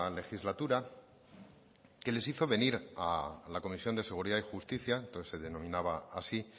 legislatura que les hizo venir a la comisión de seguridad y justicia entonces se denominaba así